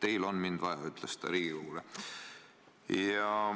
"Teil on mind vaja!" ütles ta Riigikogule.